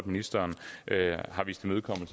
ministeren